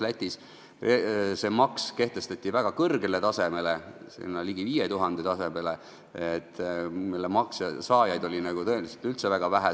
Seal kehtestati see maks väga kõrgel tasemel, ligi 5000 euro tasemel ja selliseid inimesi oli tõenäoliselt väga vähe.